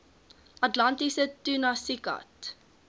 atlantiese tunas iccat